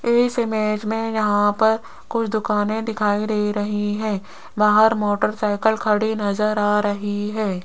इस इमेज में यहां पर कुछ दुकाने दिखाई दे रही हैं बाहर मोटरसाइकिल खड़ी नजर आ रही है।